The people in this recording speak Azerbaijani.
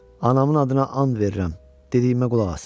Anamın adına and verirəm, dediyimə qulaq asın.